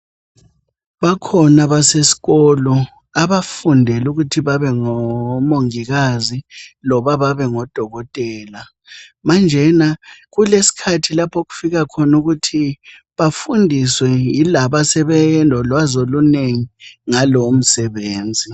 Bakhona abasesikolo, abafundela ukuthi babengomongikazi loba babe ngodokotela. Manjena kulesikhathi laphokufika khona ukuthi bafundiswe yilabo asebelolwazi olunengi ngalowo msebenzi.